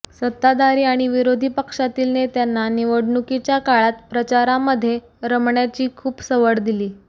सत्ताधारी आणि विरोधी पक्षातील नेत्यांना निवडणुकीच्या काळात प्रचारामध्ये रमण्याची खूपच सवड दिली